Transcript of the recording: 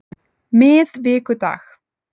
miðvikudag